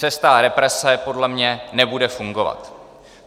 Cesta represe podle mě nebude fungovat.